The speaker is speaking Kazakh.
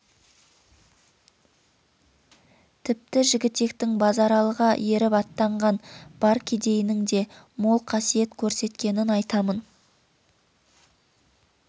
тіпті жігітектің базаралыға еріп аттанған бар кедейінің де мол қасиет көрсеткенін айтамын